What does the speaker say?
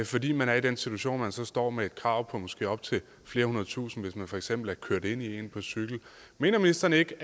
fordi man er i den situation at man så står med et krav på måske op til flere hundrede tusind kroner hvis man for eksempel er kørt ind i nogen på cykel mener ministeren ikke